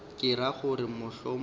ke ra gore mohlomongwe ke